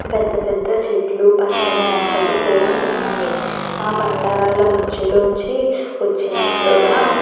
పెద్ద పెద్ద చెట్లు పచ్చని మొక్కలు కూడా ఉన్నాయి. నా బండ రాళ్లు మధ్యలోంచి వచ్చినట్లుగా --